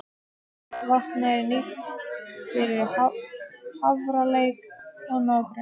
Vatnið er nýtt fyrir Hafralæk og nágrenni.